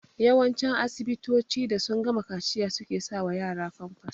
Yawancin asibitoci da sun gama kaciya suke sa wa yara famfas